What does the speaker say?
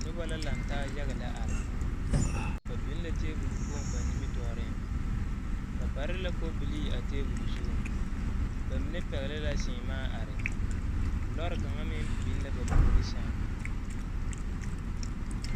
Noba la laŋ taa yaga lɛ are ba biŋ la tebol kpoŋ ba nimitɔɔre ba pare kobilii a tebol zuŋ ba mine pɛgle la seemaa are lɔɔre kaŋa meŋ biŋ la ba puori sɛŋ.